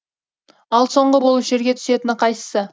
ал соңғы болып жерге түсетіні қайсысы